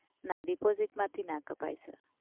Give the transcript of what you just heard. ના ડિપોઝિટમાંથી ના કપાય સર.